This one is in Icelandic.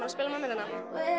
að spila með mér hérna